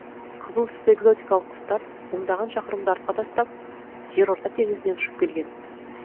қызыл түсті экзотикалық құстар мыңдаған шақырымды артқа тастап жерорта теңізінен ұшып келген